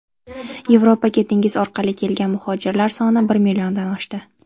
Yevropaga dengiz orqali kelgan muhojirlar soni bir milliondan oshdi.